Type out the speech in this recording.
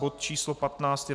Bod číslo 15 je